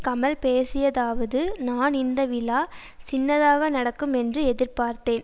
கமல் பேசியதாவது நான் இந்த விழா சின்னதாக நடக்கும் என்று எதிர்பார்த்தேன்